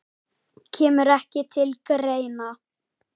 Kemur ekki til greina